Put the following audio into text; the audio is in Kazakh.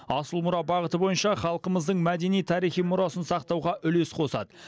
асыл мұра бағыты бойынша халқымыздың мәдени тарихи мұрасын сақтауға үлес қосады